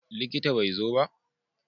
Likita bai zo ba?